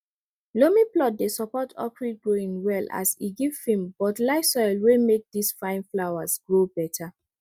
loamy plot dey support orchid growing well as e give firm but light soil wey make these fine flowers grow better